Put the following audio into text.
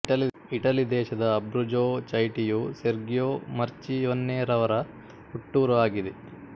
Italy ದೇಶದ Abruzzo ಚೈಟಿಯು Sergio ಮರ್ಚಿಯೊನ್ನೆರವರ ಹುಟ್ಟೂರು ಆಗಿದೆ